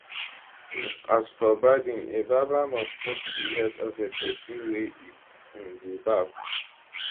um as for barbing a barber must touch di head of a pesin wey e um dey barb